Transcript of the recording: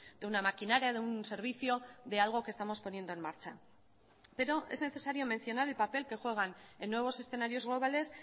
de una maquinaria de un servicio de algo que estamos poniendo en marcha pero es necesario mencionar el papel que juegan en nuevos escenarios globales